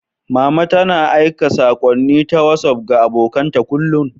Mama tana aika saƙonni na Wasuf ga abokan ta kullum.